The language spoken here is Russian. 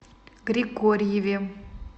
григорьеве